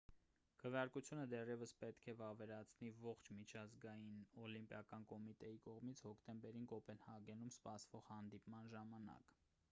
քվեարկությունը դեռևս պետք է վավերացվի ողջ միջազգային օլիմպիական կոմիտեի կողմից հոկտեմբերին կոպենհագենում սպասվող հանդիպման ժամանակ